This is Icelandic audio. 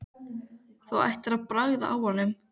Þú ættir að bragða á honum